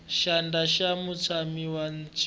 xandla xa mutshami wa xitulu